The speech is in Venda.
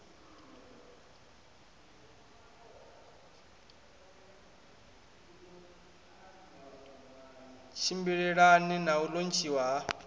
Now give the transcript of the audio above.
tshimbilelane na u lontshiwa ha